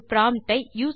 ஒரு ப்ராம்ப்ட் ஐ